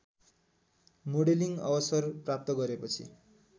modelling अवसर प्राप्त गरेपछि